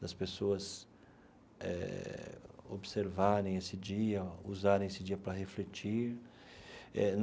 das pessoas eh observarem esse dia, usarem esse dia para refletir eh.